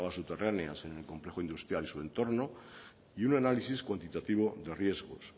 aguas subterráneas en el complejo industrial y su entorno y un análisis cuantitativo de riesgos